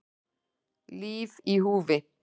Líf í húfi